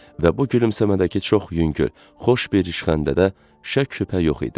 Və bu gülümsəmədəki çox yüngül, xoş bir rişxənddə də şək-şübhə yox idi.